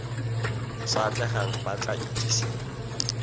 sa atlegang ba tla itsisiwe